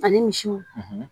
Ani misiw